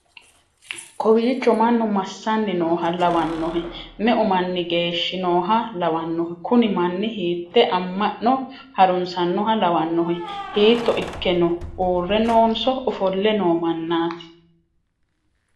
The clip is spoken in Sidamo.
kowiicho mannu massanni nooha lawannohe? me'u manni geshshi nooha lawannohe? kuni manni hiite amma'no harunsannoha lawannohe? hiito ikke no uurre noonso ofolle no mannaati?